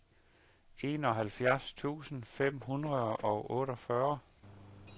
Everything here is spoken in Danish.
enoghalvfjerds tusind fem hundrede og otteogfyrre